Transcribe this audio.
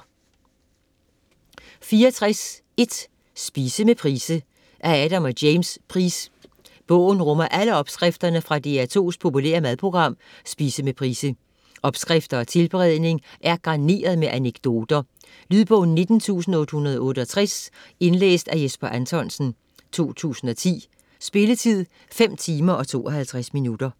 64.1 Spise med Price Af Adam og James Price. Bogen rummer alle opskrifterne fra DR2's populære madprogram "Spise med Price". Opskrifter og tilberedning er garneret med anekdoter. Lydbog 19868 Indlæst af Jesper Anthonsen, 2010. Spilletid: 5 timer, 52 minutter.